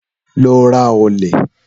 Lọ ra ọ̀lẹ̀